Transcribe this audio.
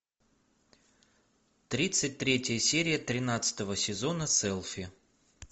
тридцать третья серия тринадцатого сезона селфи